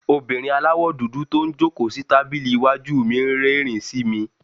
obìnrín àláwọ dúdú to n jọ̀kó si tabili iwájú mí n rérìn sí me